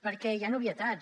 perquè hi han obvietats